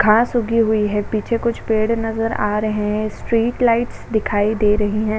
घास उगी हुई है पीछे कुछ पेड़ नजर आ रहे हैं। स्ट्रीट लाइट दिखाई दे रही है।